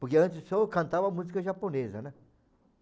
Porque antes eu só cantava música japonesa, né?